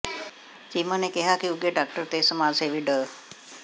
ਚੀਮਾ ਨੇ ਕਿਹਾ ਕਿ ਉੱਘੇ ਡਾਕਟਰ ਤੇ ਸਮਾਜ ਸੇਵੀ ਡਾ